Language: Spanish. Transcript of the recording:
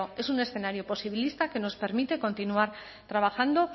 es un escenario posibilista que nos permite continuar trabajando